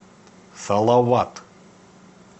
салават